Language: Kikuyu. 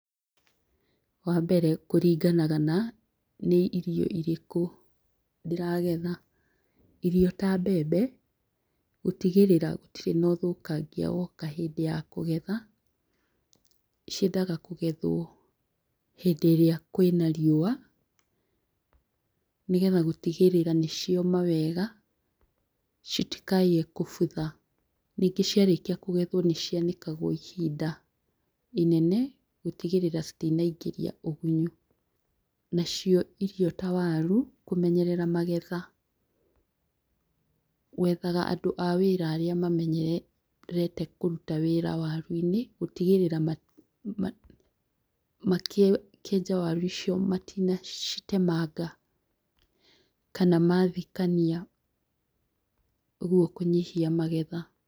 Wa mbere kũringanaga na nĩ irio irĩkũ ndĩragetha, irio ya mbembe gũtigĩrĩra gũtirĩ na ũthũkangia woka hĩndĩ ya kũgetha, ciendaga kũgethwo hĩndĩ ĩrĩa kwĩna riũa, nĩgetha gũtigĩrĩra nĩ cioma wega citikaiye gũbutha ningĩ cia rĩkia kũgethwo nĩ cia nĩkagwo ihinda inene gũtigĩrĩra citinaingĩria ũgũnyu, nacio irio ta waru kũmenyerera magetha wethaga andũ a wĩra arĩa mamenyerete kũruta wĩra waru-inĩ gũtigĩrĩra ma makĩenja waru icio matina citemanga kana mathikania ũguo kũnyihia magetha.